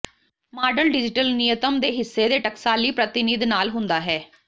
model digital ਨਿਯਤਮ ਦੇ ਹਿੱਸੇ ਦੇ ਟਕਸਾਲੀ ਪ੍ਰਤੀਨਿਧ ਨਾਲ ਹੁੰਦਾ ਹੈ